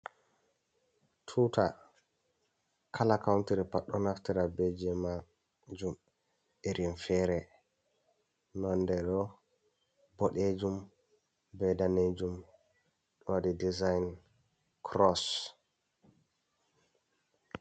Tuta kala kountiri pat ɗo naftira beje majum, irin fere nonde ɗo boɗejum be danejum ɗowaɗi dizayin kuross.